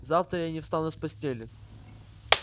завтра я не встану с постели